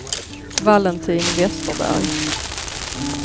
Valentin Westerberg